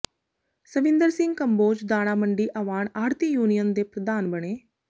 ਸਵਿੰਦਰ ਸਿੰਘ ਕੰਬੋਜ ਦਾਣਾ ਮੰਡੀ ਅਵਾਣ ਆੜ੍ਹਤੀ ਯੂਨੀਅਨ ਦੇ ਪ੍ਰਧਾਨ ਬਣੇ